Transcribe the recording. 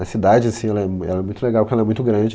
A cidade assim ela é m, ela é muito legal porque ela é muito grande.